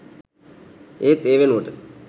ඒත් ඒ වෙනුවට